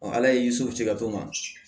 ala ye so ci ka to maa ma